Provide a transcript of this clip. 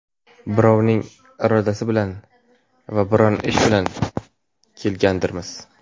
birovning irodasi bilan va biron ish bilan kelgandirmiz.